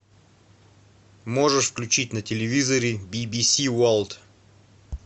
можешь включить на телевизоре би би си ворлд